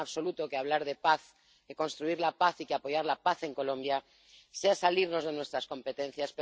No creo en absoluto que hablar de paz y construir la paz y apoyar la paz en Colombia sea salirnos de nuestras competencias.